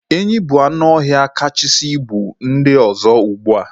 Enyi bu anụ ọhịa kachasị buo ibu n'ndi ọzọ ugbua